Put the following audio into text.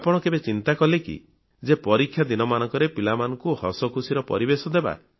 ଆପଣ କେବେ ଚିନ୍ତା କଲେ କି ଯେ ପରୀକ୍ଷା ଦିନମାନଙ୍କରେ ପିଲାମାନଙ୍କୁ ହସଖୁସିର ପରିବେଶ ଦେବା